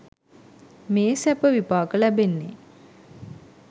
මේ සැප විපාක ලැබෙන්නේ.